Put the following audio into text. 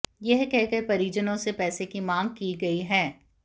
यह कहकर परिजनों से पैसे की मांग की गई है